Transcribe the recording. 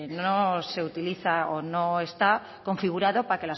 no se utiliza o no está configurado